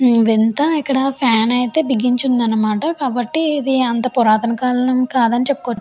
వింత ఇక్కడ ఫ్యాన్ అయితే బిగించి ఉందనమాట కాబట్టి ఇది అంత పురాతన కాలం కాదని చెప్పుకో --